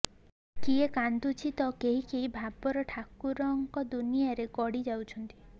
କିଏ କାନ୍ଦୁଛି ତ କେହି କେହି ଭାବର ଠାକୁଙ୍କର ଦୁଆରେ ଗଡ଼ି ଯାଉଛନ୍ତି